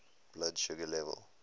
blood sugar level